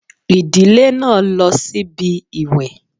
Ìdílé náà lọ síbi ìwẹ̀